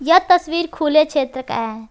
यह तस्वीर खुले क्षेत्र का है।